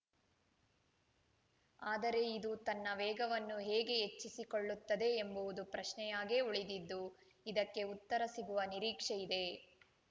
ಆದರೆ ಇದು ತನ್ನ ವೇಗವನ್ನು ಹೇಗೆ ಹೆಚ್ಚಿಸಿಕೊಳ್ಳುತ್ತದೆ ಎಂಬುವುದು ಪ್ರಶ್ನೆಯಾಗೇ ಉಳಿದಿದ್ದು ಇದಕ್ಕೆ ಉತ್ತರ ಸಿಗುವ ನಿರೀಕ್ಷೆ ಇದೆ